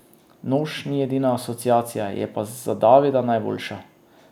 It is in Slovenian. Nož ni edina asociacija, je pa za Davida najboljša.